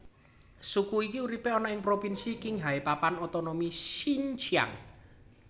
Suku iki uripe ana ing propinsi Qinghai Papan Otonomi Xinjiang